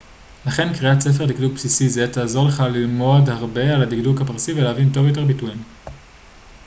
לכן קריאת ספר דקדוק בסיסי זה תעזור לך ללמוד הרבה על הדקדוק הפרסי ולהבין טוב יותר ביטויים